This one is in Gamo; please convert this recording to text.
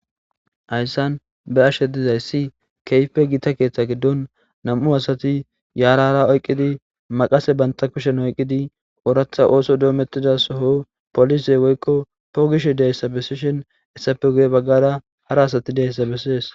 Hayisan be'ashe dizayis kehipe gita ketha giidon na'mu asati yara hara oyikidi maqase banta kushen oyikidi orath oso dometida soho woyiko pogishe deyisa besishin haysape guye bagara hara asati de'sa beses